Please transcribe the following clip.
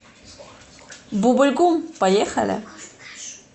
бубль гум поехали